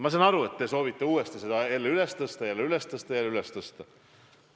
Ma saan aru, et te soovite seda uuesti üles tõsta, jälle üles tõsta ja jälle üles tõsta.